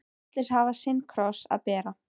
Allir hafa sinn kross að bera.